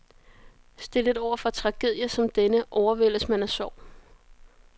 Stillet overfor tragedier som denne overvældes man af sorg.